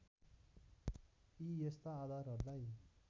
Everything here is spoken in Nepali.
यी यस्ता आधारहरूलाई